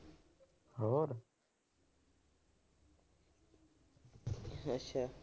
ਅੱਛਾ।